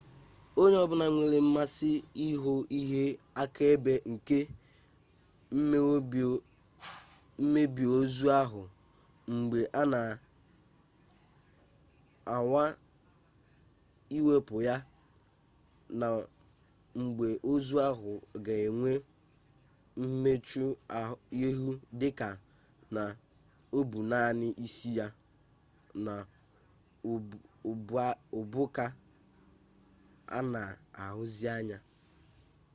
onye-obula nwere mmasi ihu ihe-akaebe nke mmebi ozu ahu mgbe ana anwa iwepu ya na igbe-ozu ahu ga enwe mmechu-ihu dika na obu nani isi ya na ubu ka ana ahuzi anya